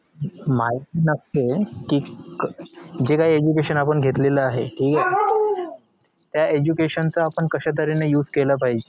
माहिती नसते कि जे काही education आपण घेतलेलं आहे त्या education चा आपण कशा तर्हेने use केला पाहिजे